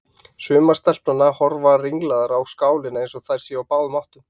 Sumar stelpnanna horfa ringlaðar á skálina eins og þær séu á báðum áttum.